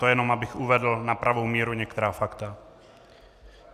To jenom, abych uvedl na pravou míru některá fakta.